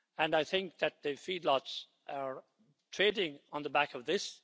I think that the feedlots are trading on the back of this.